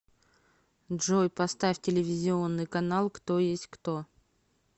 джой поставь телевизионный канал кто есть кто